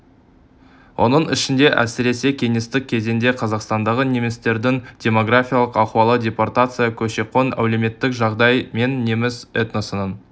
оның ішінде әсіресе кеңестік кезеңде қазақстандағы немістердің демографиялық ахуалы депортация көші-қон әлеуметтік жағдай мен неміс этносының